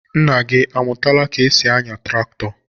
Nna gị amụtala ka e si anya traktọ?